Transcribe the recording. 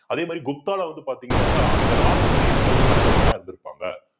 அதே மாதிரி குப்தால வந்து பார்த்தீங்க அப்படின்னா அந்த ராணுவத்துல என்ன மாதிரி தலைவர்கள்லாம் இருந்திருப்பாங்க